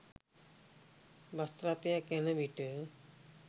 bus රථයක යනවිට